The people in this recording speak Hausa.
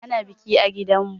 Ana biki a gidanmu.